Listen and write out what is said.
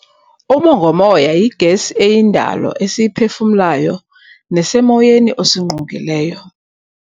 Umongomoya yigesi eyindalo esiyiphefumlayo nesemoyeni osingqongileyo.